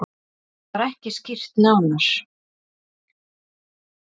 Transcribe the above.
Það var ekki skýrt nánar.